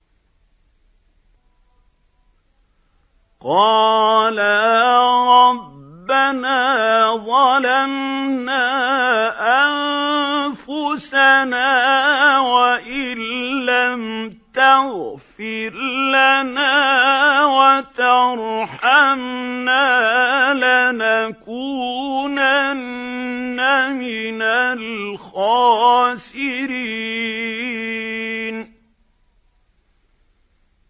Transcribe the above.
قَالَا رَبَّنَا ظَلَمْنَا أَنفُسَنَا وَإِن لَّمْ تَغْفِرْ لَنَا وَتَرْحَمْنَا لَنَكُونَنَّ مِنَ الْخَاسِرِينَ